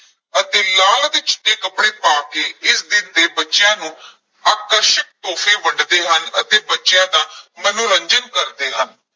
ਅਤੇ ਲਾਲ ਅਤੇ ਚਿੱਟੇ ਕੱਪੜੇ ਪਾ ਕੇ ਇਸ ਦਿਨ ਤੇ ਬੱਚਿਆਂ ਨੂੰ ਆਕਰਸ਼ਕ ਤੋਹਫ਼ੇ ਵੰਡਦੇ ਹਨ ਅਤੇ ਬੱਚਿਆਂ ਦਾ ਮਨੋਰੰਜਨ ਕਰਦੇ ਹਨ।